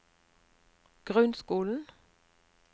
grunnskolen